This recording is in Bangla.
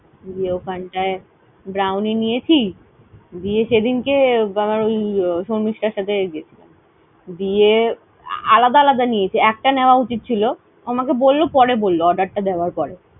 দিয়ে ওখানটায় Brownie নিয়েছি দিয়ে সেদিন কে আবার ওই শর্মিষ্ঠার সাথে গিয়েছিলাম দিয়ে আলাদা আলাদা নিয়েছি একটা নেওয়া উছিত ছিল আমাকে বলল পরে বলল order টা দেবার পরে